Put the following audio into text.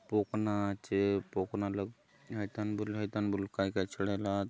पोखना आछे पोखना लगे हाय थाने हाय थाने बले काय - काय चढ़ाय ला आत।